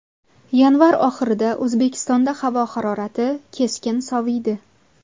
Yanvar oxirida O‘zbekistonda havo harorati keskin soviydi .